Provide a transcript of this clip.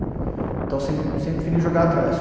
Então sempre sempre preferi jogar atrás.